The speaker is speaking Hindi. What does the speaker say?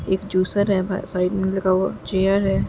एक जूसर है ब साइड में लगा हुआ। चेयर है।